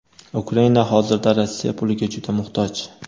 Ukraina hozirda Rossiya puliga juda muhtoj.